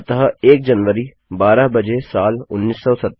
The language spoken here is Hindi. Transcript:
अतः 1 जनवरी 12 बजे साल 1970